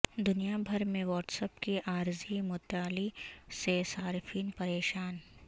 دنیا بھر میں واٹس ایپ کی عارضی معطلی سے صارفین پریشان